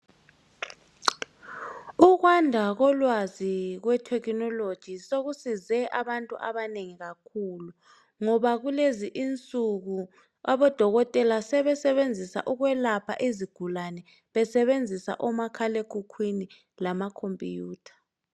Ukwanda kolwazi kwe technology sekusize abantu abanengi kakhulu ngoba kulezinsuku abodokotela sebesebenzisa ukwelapha izigulane besebenzisa umakhalekhukhwini amakhompiyutha .